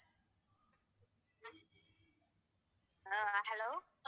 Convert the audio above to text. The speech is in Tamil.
ஆஹ் hello